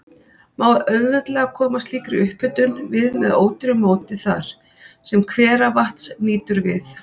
Má auðveldlega koma slíkri upphitun við með ódýru móti þar, sem hveravatns nýtur við.